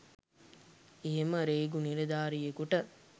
එහෙම රේගු නිලධාරියෙකුට